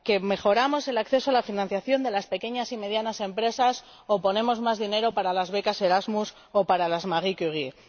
mejoramos el acceso a la financiación de las pequeñas y medianas empresas o ponemos más dinero para las becas Erasmus o para las Marie Curie